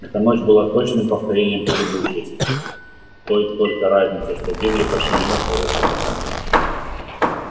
эта ночь была точным повторением предыдущей с той только разницей что генри почти не мог бороться со сном